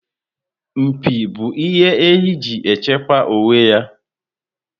Mpi bu ihe ehi ji echekwa onwe ya